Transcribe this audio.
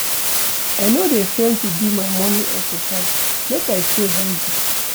I no dey fail to do my morning exercise make I stay healthy.